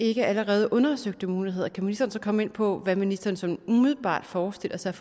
ikke allerede undersøgte muligheder kan ministeren så komme ind på hvad ministeren sådan umiddelbart forestiller sig